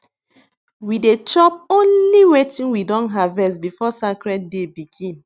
we dey chop only wetin we don harvest before sacred day begin